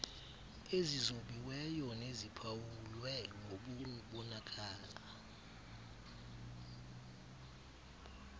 ezizobiweyo neziphawulwe ngokubonakala